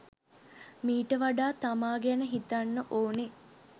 මීට වඩා තමා ගැන හිතන්න ඕනේ.